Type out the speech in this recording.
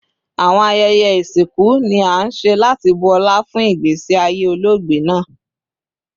Awọn ayẹyẹ isinku ni a nṣe lati bu ọla fun igbesi aye ologbe naa